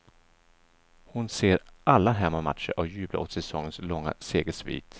Hon ser alla hemmamatcher och jublar åt säsongens långa segersvit.